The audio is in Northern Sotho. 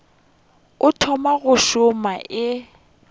o thoma go šoma e